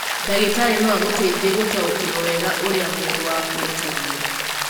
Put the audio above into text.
Ndagĩtarĩ no agũteithie gũtaũkĩrũo wega ũrĩa mwĩrĩ waku ũtariĩ.